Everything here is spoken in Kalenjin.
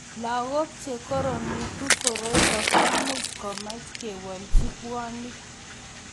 Lagok che koromitu koroito komuch komach kewolchi puanik.